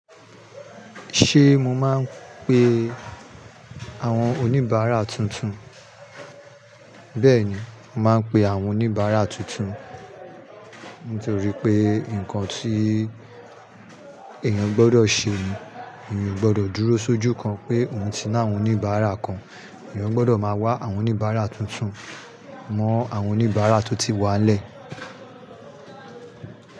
Ṣé mo máa ń pe àwọn oníbàárà tuntun? Bẹ́ẹ̀ni, màá pe àwọn oníbàárà tuntun nítorí pé nǹkan tí èèyàn gbọdọ̀ ṣe ni èèyàn o gbọdọ̀ dúró sójú kan pé òun ti ná àwọn oníbàárà kan, èèyàn gbọdọ̀ máa wá àwọn oníbàárà tuntun mọ àwọn oníbàárà tó ti wà lẹ́ẹ̀.